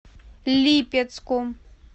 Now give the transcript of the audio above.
липецком